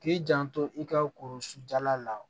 K'i janto i ka korosun dala la